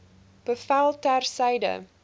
bevel ter syde